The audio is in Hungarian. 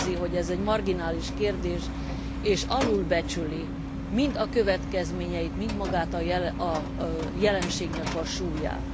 Úgy érzi, hogy ez egy marginális kérdés, és az alulbecsüli mind a következményeit, mind magának a jelenségnek a súlyát.